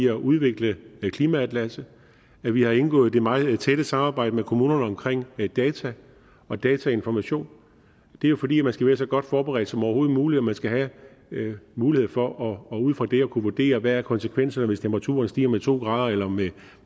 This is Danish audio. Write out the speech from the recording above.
at udvikle klimaatlasset at vi har indgået det meget tætte samarbejde med kommunerne omkring data og datainformation det er jo fordi man skal være så godt forberedt som overhovedet muligt og man skal have mulighed for ud fra det at kunne vurdere hvad konsekvensen er hvis temperaturen stiger med to grader eller med